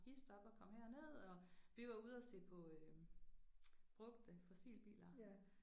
Hist op og kom herned og vi var ude og se på øh brugte fossilbiler